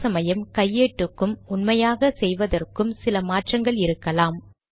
சில சமயம் கையேட்டுக்கும் உண்மையாக செய்வதற்கும் சில மாற்றங்கள் இருக்கலாம்